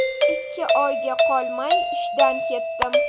Ikki oyga qolmay ishdan ketdim.